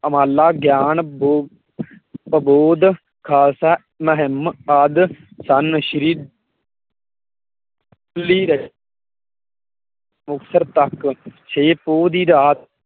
ਗਿਆਨ ਬੋ ਬੋਧ ਖਾਲਸਾ ਮਹਿਮ ਆਦਿ ਸਨ ਸ਼੍ਰੀ ਮੁਕਤਸਰ ਤੱਕ ਛੇ ਪੌਹ ਦੀ ਰਾਤ